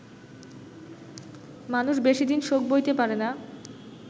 মানুষ বেশিদিন শোক বইতে পারে না